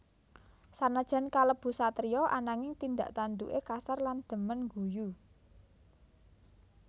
Sanajan kalebu satriya ananging tindak tanduké kasar lan dhemen ngguyu